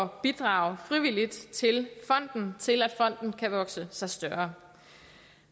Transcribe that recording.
bidrage frivilligt til til at fonden kan vokse sig større